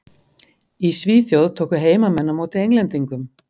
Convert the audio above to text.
Í Svíþjóð tóku heimamenn á móti Englendingum.